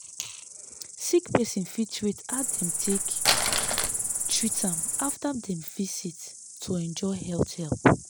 sick person fit rate how dem take treat am after dem visit to enjoy health help.